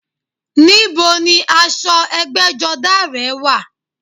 Ní bo ni aṣọ ẹgbẹ́jọdá rẹ̀ wà?